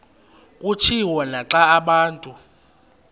kutshiwo naxa abantu